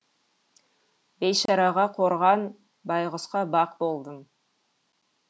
бейшараға қорған байғұсқа бақ болдым